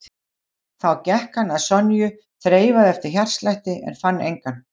Þá gekk hann að Sonju, þreifaði eftir hjartslætti en fann engan.